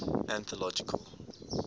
anthological